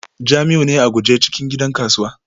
Jamiu ne a guje cikin gidan kasuwa